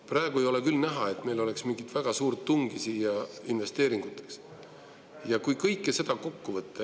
Praegu ei ole küll näha, et meil oleks mingit väga suurt tungi siin investeeringute tegemiseks.